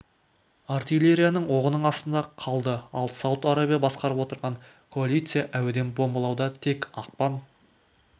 артиллерияның оғының астында қалды ал сауд арабия басқарып отырған коалиция әуеден бомбалауда тек ақпан